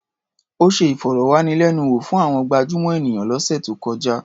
Ó ṣe ìfọ̀rọ̀wánilẹ́nuwò fún àwọn gabjúmọ̀ ènìyàn lọ́sẹ̀ tó kọjá.